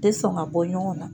tɛ sɔn ka bɔ ɲɔgɔn na.